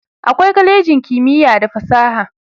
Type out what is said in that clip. akwai kwalejin kimiya da fasaha